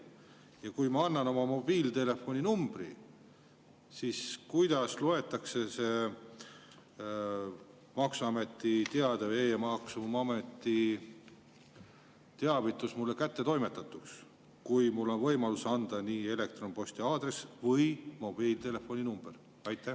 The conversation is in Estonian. Ja kui ma annan oma mobiiltelefoni numbri, siis kuidas loetakse see maksuameti teade või e‑maksuameti teavitus mulle kättetoimetatuks, kui mul on võimalus anda kas elektronposti aadress või mobiiltelefoni number?